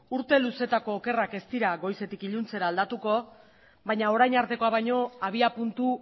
urte luzeetako okerrak ez dira goizetik iluntzera aldatuko baina orain artekoa baino abiapuntu